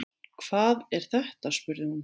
Hvað er þetta spurði hún.